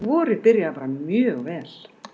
Vorið byrjaði bara mjög vel.